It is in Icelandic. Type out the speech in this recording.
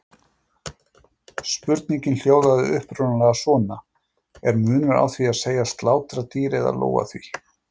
Spurningin hljóðaði upprunalega svona: Er munur á því að segjast slátra dýri eða lóga því?